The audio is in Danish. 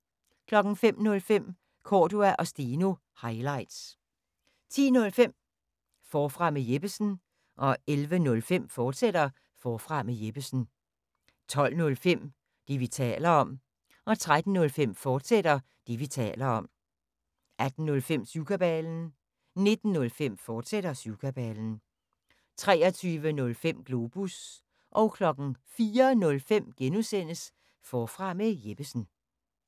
05:05: Cordua & Steno – highlights 10:05: Forfra med Jeppesen 11:05: Forfra med Jeppesen, fortsat 12:05: Det, vi taler om 13:05: Det, vi taler om, fortsat 18:05: Syvkabalen 19:05: Syvkabalen, fortsat 23:05: Globus 04:05: Forfra med Jeppesen (G)